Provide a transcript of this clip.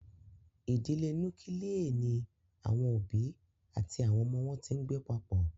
Idile nukilie ni awọn obi ati awọn ọmọ wọn ti ngbe papọ.